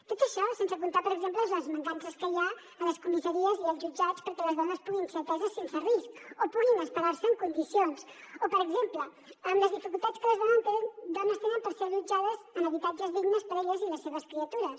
tot això sense comptar per exemple les mancances que hi ha a les comissaries i als jutjats perquè les dones puguin ser ateses sense risc o puguin esperar se en condicions o per exemple amb les dificultats que les dones tenen per ser allotjades en habitatges dignes per a elles i les seves criatures